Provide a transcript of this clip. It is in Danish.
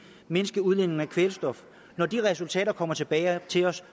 mindske udledningen af kvælstof når de resultater kommer tilbage til os